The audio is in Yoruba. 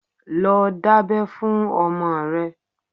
Lọ dábẹ́ fún ọmọ rẹ!